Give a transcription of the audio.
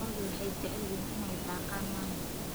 Lo'du waxay jecel yihiin inay daaqaan maalinta.